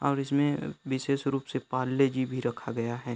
और इसमें विशेष रूप से पारले-जी भी रखा गया है।